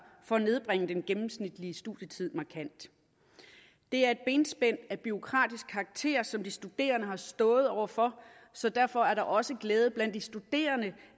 for at nedbringe den gennemsnitlige studietid markant det er et benspænd af bureaukratisk karakter som de studerende har stået over for så derfor er der også glæde blandt de studerende